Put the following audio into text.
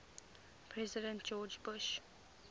president george bush